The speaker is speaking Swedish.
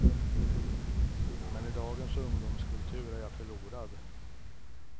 Men i dagens ungdomskultur är jag förlorad.